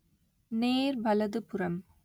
நேர் வலதுபுறம்